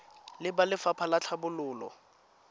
le ba lefapha la tlhabololo